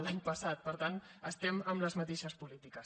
l’any passat per tant estem amb les mateixes polítiques